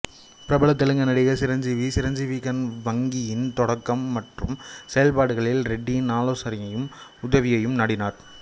பிரபல தெலுங்கு நடிகர் சிரஞ்சீவி சிரஞ்சீவி கண் வங்கியின் தொடக்கம் மற்றும் செயல்பாடுகளில் ரெட்டியின் ஆலோசனையையும் உதவியையும் நாடினார்